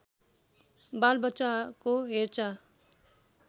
बाल बच्चाको हेरचाह